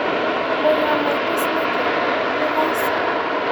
Mũrũ wa maitu Snaky, nĩ thaici.